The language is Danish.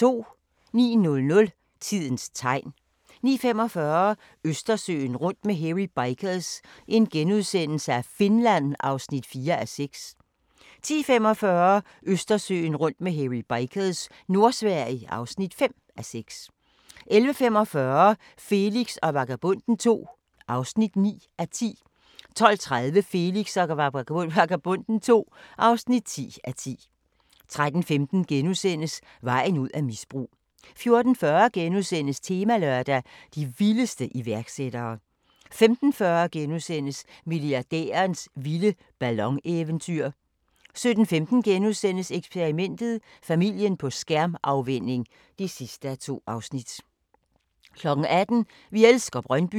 09:00: Tidens tegn 09:45: Østersøen rundt med Hairy Bikers – Finland (4:6)* 10:45: Østersøen rundt med Hairy Bikers – Nordsverige (5:6) 11:45: Felix og Vagabonden II (9:10) 12:30: Felix og Vagabonden II (10:10) 13:15: Vejen ud af misbrug * 14:40: Temalørdag: De vildeste iværksættere * 15:40: Milliardærens vilde ballon-eventyr * 17:15: Eksperimentet: Familien på skærmafvænning (2:2)* 18:00: Vi elsker Brøndby